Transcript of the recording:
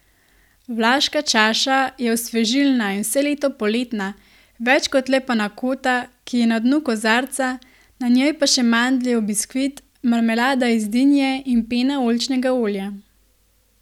Vlaška čaša je osvežilna in vse leto poletna, več kot le panakota, ki je na dnu kozarca, na njej pa še mandljev biskvit, marmelada iz dinje in pena oljčnega olja.